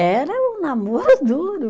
Era um namoro duro.